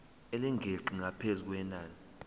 elingeqi ngaphezu kwenani